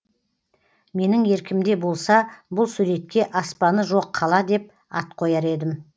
менің еркімде болса бұл суретке аспаны жоқ қала деп ат қояр едім